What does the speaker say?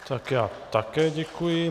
Tak já také děkuji.